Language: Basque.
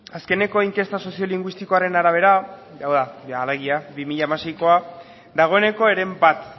azkeneko inkesta soziolinguistikoaren arabera hau da alegia bi mila hamaseikoa dagoeneko heren bat